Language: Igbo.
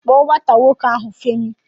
Kpọọ nwata nwoke ahụ, Femi!